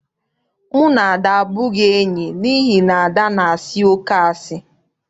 Mụ na Ada abụghịzi enyi n'ihi na Ada na-asị oké asị.